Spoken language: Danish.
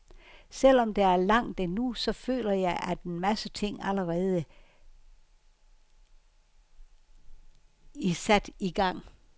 Selv om der er langt endnu, så føler jeg, at en masse ting allerede i sat i gang.